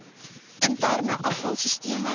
interne afval sisteme